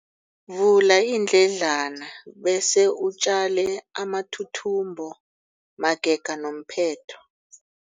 Vula iindledlana bese utjale amathuthumbo magega nomphetho.